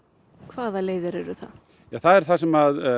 hvaða leiðir eru það það er það sem